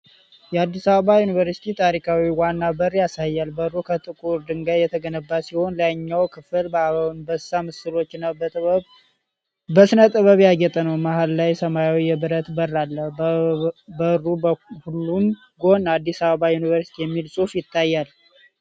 የአዲስ አበባ ዩኒቨርሲቲ ታሪካዊ ዋና በር ያሳያል። በሩ ከጥቁር ድንጋይ የተገነባ ሲሆን፤ ላይኛው ክፍል በአንበሳ ምስሎችና በሥነ ጥበብ ያጌጠ ነው። መሃል ላይ ሰማያዊ የብረት በር አለ። በበሩ በሁለቱም ጎን “አዲስ አበባ ዩኒቨርሲቲ” የሚል ጽሑፍ ይታያል፡፡